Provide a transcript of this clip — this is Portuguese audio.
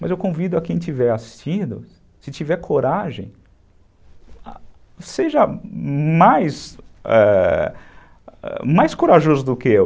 Mas eu convido a quem estiver assistindo, se tiver coragem, seja mais ãh ãh corajoso do que eu.